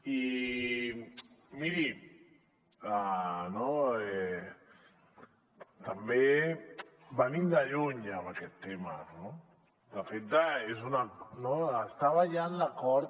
i miri també venim de lluny en aquest tema no de fet estava ja en l’acord